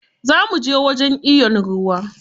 Za muje wajen iyon ruwa.